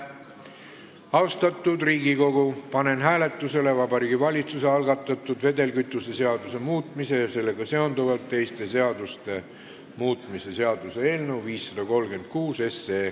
Austatud Riigikogu, panen hääletusele Vabariigi Valitsuse algatatud vedelkütuse seaduse muutmise ja sellega seonduvalt teiste seaduste muutmise seaduse eelnõu 536.